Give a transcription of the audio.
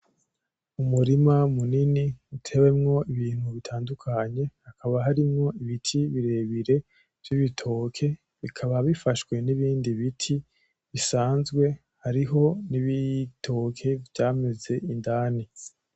Umurima munini utewemwo ibintu bitandukanye haba harimwo ibiti birebire vy'ibitoke ,bikaba bifashwe nibindi biti bisanzwe hariho n'ibitoke vyameze indani.